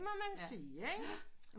Det må man sige ikke